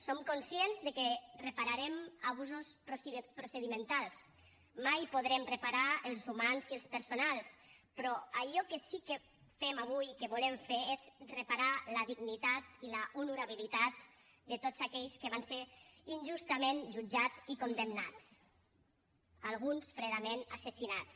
som conscients que repararem abusos procedimentals mai en podrem reparar els humans i els personals però allò que sí que fem avui i que volem fer és reparar la dignitat i l’honorabilitat de tots aquells que van ser injustament jutjats i condemnats alguns fredament assassinats